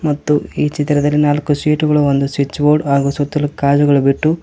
ಮತ್ತು ಈ ಚಿತ್ರದಲ್ಲಿ ನಾಲ್ಕು ಸೀಟುಗಳು ಒಂದು ಸ್ವಿಚ್ ಬೋರ್ಡ್ ಹಾಗು ಸುತ್ತಲು ಗಾಜುಗಳು ಬಿಟ್ಟು--